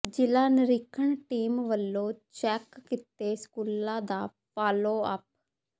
ਜਿਲ੍ਹਾਂ ਨਿਰੀਖਣ ਟੀਮ ਵੱਲੌ ਚੈੱਕ ਕੀਤੇ ਸਕੂਲਾਂ ਦਾ ਫਾਲੋ ਅਪ